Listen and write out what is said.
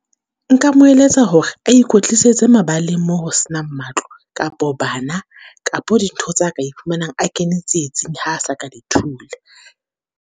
Nka mo eletsa hore a ikwetlisetse mabaleng mo ho se nang matlo kapo bana, kapo dintho tsa ka e fumanang a kene tsietsing ha a sa ka di thula.